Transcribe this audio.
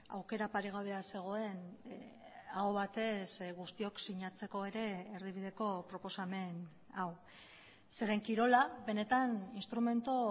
aukera paregabea zegoen aho batez guztiok sinatzeko ere erdibideko proposamen hau zeren kirola benetan instrumentu